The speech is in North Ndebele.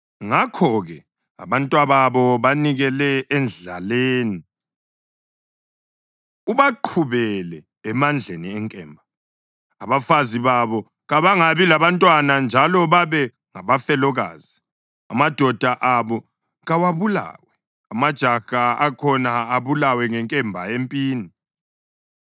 Ngakho-ke abantwababo banikele endlaleni; ubaqhubele emandleni enkemba. Abafazi babo kabangabi labantwana njalo babe ngabafelokazi; amadoda abo kawabulawe, amajaha akhona abulawe ngenkemba empini.